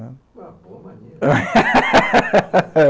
É uma boa mania.